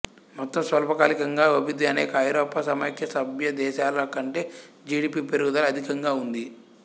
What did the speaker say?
మొత్తం స్వల్పకాలికంగా అభివృద్ధి అనేక ఐరోపా సమాఖ్య సభ్యదేశాల కంటే జి డి పి పెరుగుదల అధికంగా ఉంది